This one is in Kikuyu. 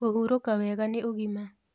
Kũhurũka wega nĩ ũgima